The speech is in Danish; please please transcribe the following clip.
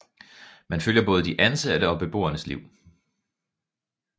Man følger både de ansatte og beboernes liv